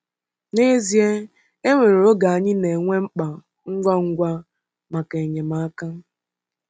N’ezie, e nwere oge anyị na-enwe mkpa ngwa ngwa maka enyemaka.